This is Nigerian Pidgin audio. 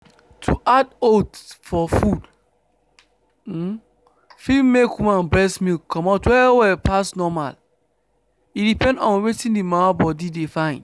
to add oats for food fit make woman breast milk comot well well pass normal. e depend on wetin the mama body de fyn.